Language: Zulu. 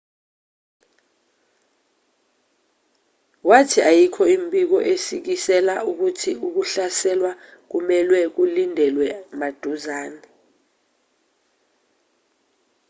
wathi ayikho imibiko esikisela ukuthi ukuhlaselwa kumelwe kulindelwe maduzane